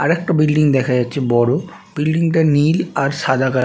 আরেকটা বিল্ডিং দেখা যাচ্ছে বড়ো বিল্ডিং টা নীল আর সাদা কালার ।